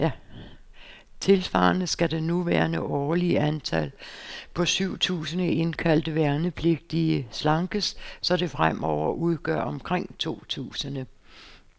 Tilsvarende skal det nuværende årlige antal, på syv tusinde indkaldte værnepligtige, slankes, så det fremover udgør omkring to tusinde.